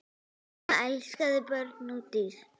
Mamma elskaði börn og dýr.